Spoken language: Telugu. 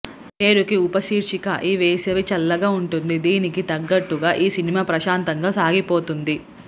పేరుకి ఉపశీర్షిక ఈ వేసవి చల్లగా ఉంటుంది దీనికి తగ్గట్లుగా ఈ సినిమా ప్రశాంతంగా సాగిపోతుంది